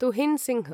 Tuhin Singh